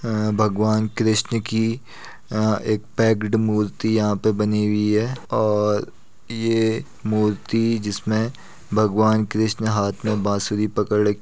अं भगवन कृष्ण की अं एक पैक्ड मूर्ति यहां पे बनी हुई है और ये मूर्ति जिसमें भगवान कृष्ण हाथ में बांसुरी पकड़ --